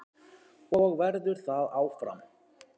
Og verður það áfram.